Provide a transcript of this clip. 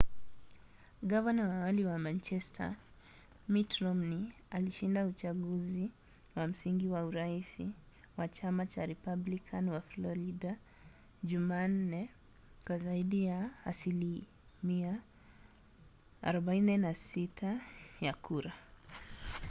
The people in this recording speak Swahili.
gavana wa awali wa massachusetts mitt romney alishinda uchaguzi wa msingi wa urais wa chama cha republican wa florida jumanne kwa zaidi ya asilimia 46 ya kura